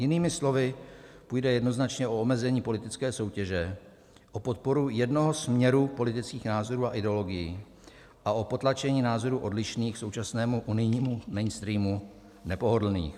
Jinými slovy půjde jednoznačně o omezení politické soutěže, o podporu jednoho směru politických názorů a ideologií a o potlačení názorů odlišných, současnému unijnímu mainstreamu nepohodlných.